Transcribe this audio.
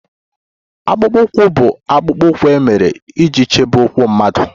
Akpụkpọ ụkwụ bụ akpụkpọ ụkwụ e mere iji chebe ụkwụ mmadụ